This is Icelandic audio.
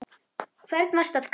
hvern varstu að kalla?